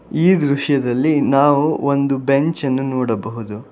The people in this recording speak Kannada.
ಈ ದೃಶ್ಯದಲ್ಲಿ ನಾವು ಒಂದು ಬೆಂಚ್ ಅನ್ನು ನೋಡಬಹುದು.